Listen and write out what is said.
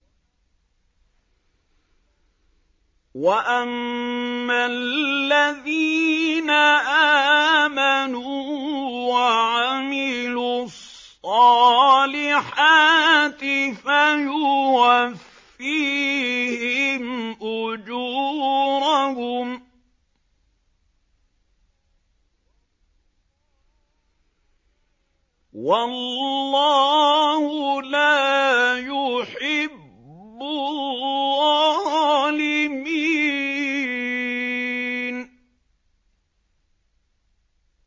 وَأَمَّا الَّذِينَ آمَنُوا وَعَمِلُوا الصَّالِحَاتِ فَيُوَفِّيهِمْ أُجُورَهُمْ ۗ وَاللَّهُ لَا يُحِبُّ الظَّالِمِينَ